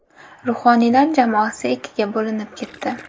Ruhoniylar jamoasi ikkiga bo‘linib ketdi.